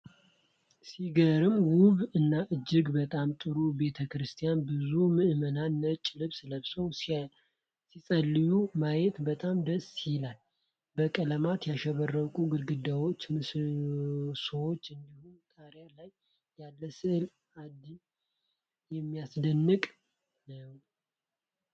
ሲገርም! ውብ እና እጅግ በጣም ጥሩ ቤተ ክርስቲያን! ብዙ ምዕመናን ነጭ ልብስ ለብሰው ሲጸልዩ ማየቱ በጣም ደስ ይላል። በቀለማት ያሸበረቁት ግድግዳዎችና ምሰሶዎች፣ እንዲሁም ጣሪያ ላይ ያለው ሥዕል አድኖ የሚያስደንቅ ነው።